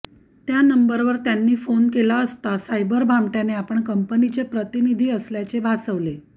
त्या नंबरवर त्यांनी फोन केला असता सायबर भामटय़ाने आपण कंपनीचे प्रतिनिधी असल्याचे भासवले